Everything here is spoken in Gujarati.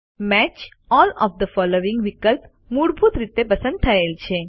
match all of the following વિકલ્પ મૂળભૂત રીતે પસંદ થયેલ છે